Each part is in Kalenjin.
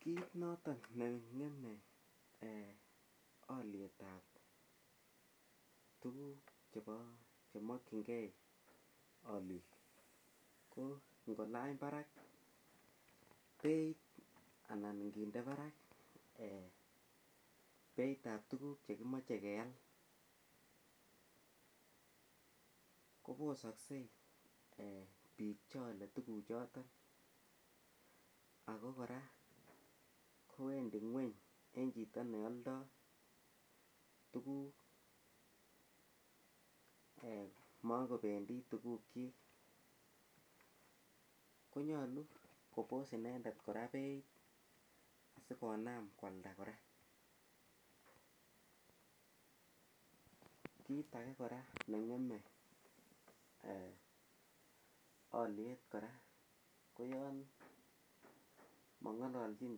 Kiit noto neng'eme olietab tukuk chemokchingei olik ko ngolany barak beit anan nginde barak beitab tukuk chekimoche keal kobososkei biik cheolei tukuchoton ako kora kowendi ng'weny eng' chito neoldoi tukuk makobendi tukukchi konyolu kobos inendet kora beit sikonam kwalda kora kit age kora neng'eme oliet kora ko yon kang'ololjin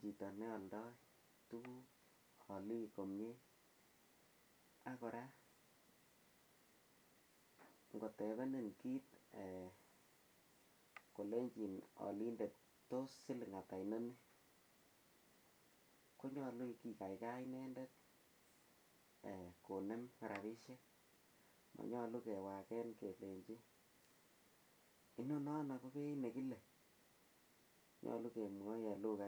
chito neoldoi tukuk olik komyee ak kora ngotebenen kiit kolenjin olindet tos siling' ata noni konyolu kikaikai inendet konem rabishek manyolu kewoken kelenjin inonono ko beit nekile nyolu kemwoi eng' lukait